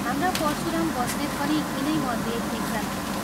हाम्रा परशुराम बस्नेत पनि यिनैमध्ये एकजना हुन्।